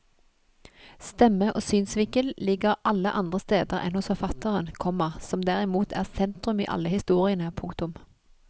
Stemme og synsvinkel ligger alle andre steder enn hos forfatteren, komma som derimot er sentrum i alle historiene. punktum